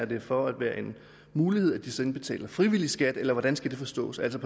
det for at være en mulighed at de så indbetaler frivillig skat eller hvordan skal det forstås altså